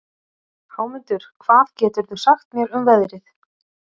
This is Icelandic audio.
Hámundur, hvað geturðu sagt mér um veðrið?